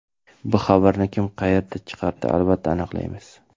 Bu xabarni kim qayerdan chiqardi albatta aniqlaymiz.